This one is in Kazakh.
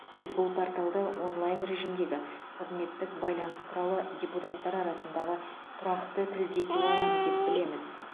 біз бұл порталды онлайн режимдегі қызметтік байланыс құралы депутаттар арасындағы тұрақты тілдесу алаңы деп білеміз